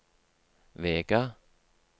Vega